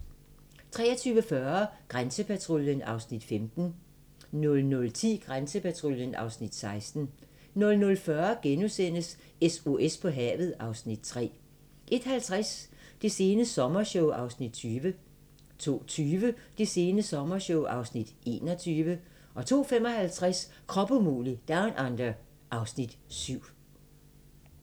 23:40: Grænsepatruljen (Afs. 15) 00:10: Grænsepatruljen (Afs. 16) 00:40: SOS på havet (Afs. 3)* 01:50: Det sene sommershow (Afs. 20) 02:20: Det sene sommershow (Afs. 21) 02:55: Krop umulig Down Under (Afs. 7)